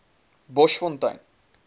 boschfontein